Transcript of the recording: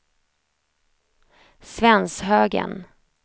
Svenshögen